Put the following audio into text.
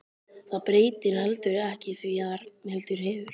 Það breytir heldur ekki því að Ragnhildur hefur